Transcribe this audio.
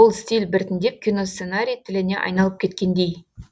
бұл стиль біртіндеп киносценарий тіліне айналып кеткендей